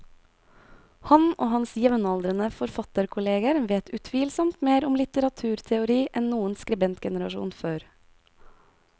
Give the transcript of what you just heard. Han og hans jevnaldrende forfatterkolleger vet utvilsomt mer om litteraturteori enn noen skribentgenerasjon før.